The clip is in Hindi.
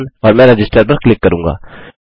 और मैं रजिस्टर पर क्लिक करूँगा